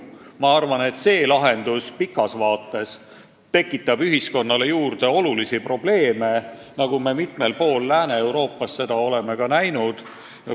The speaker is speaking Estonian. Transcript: Ma arvan, et see lahendus tekitaks pikas vaates ühiskonnas suuri probleeme, nagu me mitmel pool Lääne-Euroopas oleme juba näinud.